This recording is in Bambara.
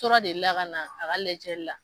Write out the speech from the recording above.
Tora deli la ka na a ka lajɛli la.